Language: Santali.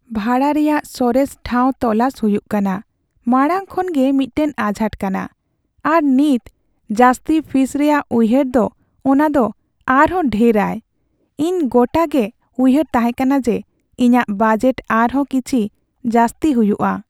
ᱵᱷᱟᱲᱟ ᱨᱮᱭᱟᱜ ᱥᱚᱨᱮᱥ ᱴᱷᱟᱶ ᱛᱚᱞᱟᱥ ᱦᱩᱭᱩᱜ ᱠᱟᱱᱟ ᱢᱟᱲᱟᱝ ᱠᱷᱚᱱ ᱜᱮ ᱢᱤᱫᱴᱟᱝ ᱟᱡᱷᱟᱴ ᱠᱟᱱᱟ, ᱟᱨ ᱱᱤᱛ ᱡᱟᱹᱥᱛᱤ ᱯᱷᱤᱥ ᱨᱮᱭᱟᱜ ᱩᱭᱦᱟᱹᱨ ᱫᱚ ᱚᱱᱟ ᱫᱚ ᱟᱨ ᱦᱚᱸ ᱰᱷᱮᱨ ᱟᱭ ᱾ ᱤᱧ ᱜᱚᱴᱟ ᱜᱮ ᱩᱭᱦᱟᱹᱨᱮ ᱛᱟᱦᱮᱸ ᱠᱟᱱᱟ ᱡᱮ ᱤᱧᱟᱹᱜ ᱵᱟᱡᱮᱴ ᱟᱨᱦᱚᱸ ᱠᱤᱪᱷᱤ ᱡᱟᱹᱥᱛᱤ ᱦᱩᱭᱩᱜᱼᱟ ᱾